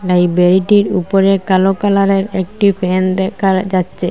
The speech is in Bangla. লাইব্রেরিটির উপরে কালো কালারের একটি ফ্যান দেখার যাচ্ছে।